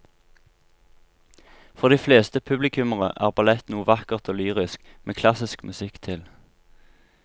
For de fleste publikummere er ballett noe vakkert og lyrisk med klassisk musikk til.